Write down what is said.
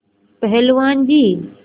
पहलवान जी